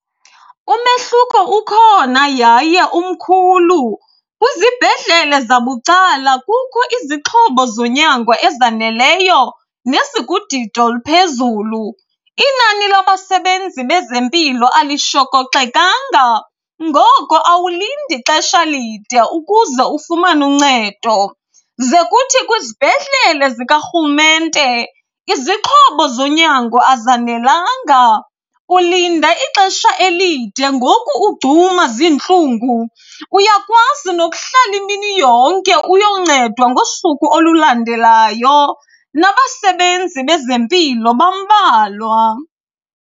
Umehluko ukhona yaye umkhulu kwizibhedlele zabucala kukhu izixhobo zonyango ezaneleyo nezikudidi oluphezulu. Inani labasebenzi bezempilo alishokoxekanga ngoko awulindi xesha lide ukuze ufumane uncedo. Ze kuthi kwizibhedlele zikarhulumente, izixhobo zonyango azanelanga, ulinda ixesha elide ngoku ugcuma ziintlungu. Uyakwazi nokuhlala imini yonke uyoncedwa ngosuku olulandelayo, nabasebenzi bezempilo bambalwa.